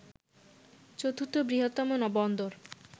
চতুর্থ বৃহত্তম বন্দর